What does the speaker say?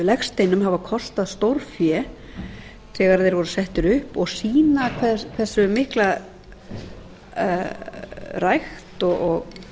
legsteinum hafa kostað stórfé þegar þeir voru settir upp og sýna hversu mikla rækt